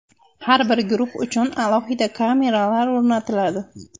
Har bir guruh uchun alohida kameralar o‘rnatiladi.